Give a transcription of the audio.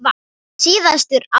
Síðustu árin